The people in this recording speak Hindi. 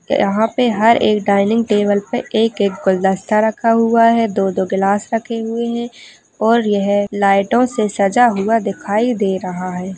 यहाँ पे हर एक डाइनिंग टेबल पे एक -एक गुलदस्ता रखा हुआ है दो-दो गिलास रखे हुए है और यह लाइटो से सजा हुआ दिखाई दे रहा हैं।